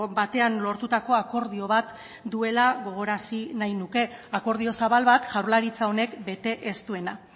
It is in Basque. batean lortutako akordio bat duela gogoarazi nahi nuke akordio zabal bat jaurlaritza honek bete ez duena